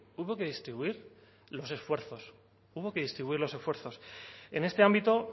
hubo que distribuir los esfuerzos hubo que distribuir los esfuerzos en este ámbito